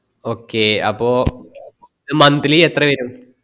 monthly എത്ര വെരും